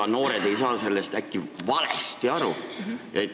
Ega noored ei saa sellest äkki valesti aru?